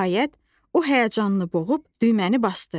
Nəhayət, o həyəcanı boğub düyməni basdı.